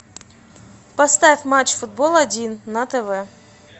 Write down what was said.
поставь матч футбол один на тв